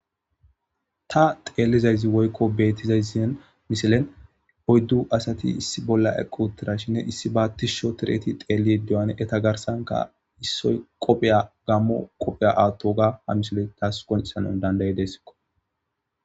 Ta teellizayzi woykko beettizayzin miselen oyddu asati issi bolla equ tirashinne issi baattisho tireti xeeli duyan eta garsanka issoy qophiya gammo qophiya aatto ga ha misile taas koncisana dandayi desikko